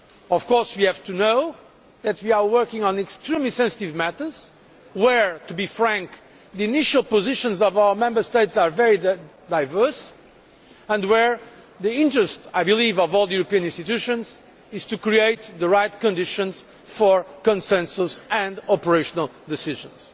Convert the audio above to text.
Of course we have to know that we are working on extremely sensitive matters where, to be frank, the initial positions of our Member States are very diverse and where the interest, I believe, of all the European institutions is to create the right conditions for consensus and operational decisions.